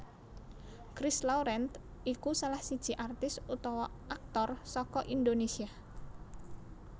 Christ Laurent iku salah siji artis utawa aktor saka Indonesia